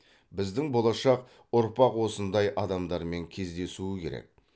біздің болашақ ұрпақ осындай адамдармен кездесуі керек